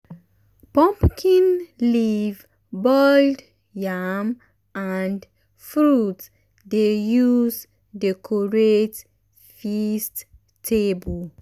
pumpkin leaf boiled yam and fruit dey use decorate feast table.